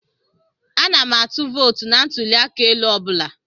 Ana m atụ vootu na ntụli aka elu I bụla.